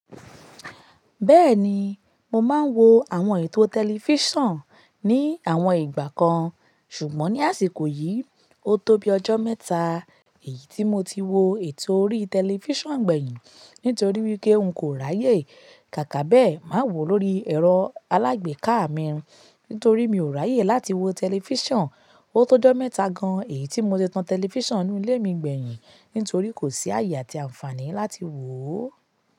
Bẹ́ẹ̀ni, mo máa ń wo àwọn ètò tẹlifíṣàn ní àwọn ìgbà kan, ṣùgbọ́n ní àsìkò yìí, ó tó bí ọjọ́ mẹ́ta èyí tí mo ti wo ètò orí tẹlifíṣàn gbẹ̀yìn, nítorí wípé n kò ráyè. Kàkà bẹ́ẹ̀, mà wò lórí ẹ̀rọ alágbèéká mi, nítorí mi ò ráyè láti wo tẹlifíṣàn. Ó tó ọjọ́ mẹ́ta gan èyí tí mo ti tan tẹlifíṣọ̀nù inú ilé mi gbẹ̀yìn nítorí kò sí ààyè àti àǹfààní láti wò.